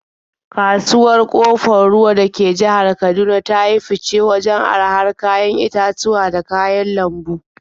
Kasuwar Ƙofar Ruwa da ke jihar Kaduna ta yi fice wajen arahar kayan itatuwa da kayan lambu.